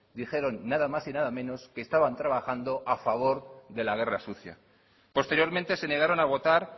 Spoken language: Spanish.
dijeron nada más y nada menos que estaban trabajando a favor de la guerra sucia posteriormente se negaron a votar